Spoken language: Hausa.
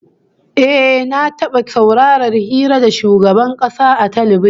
Eh, na taba saurarar hira da shugaban kasa a talbijin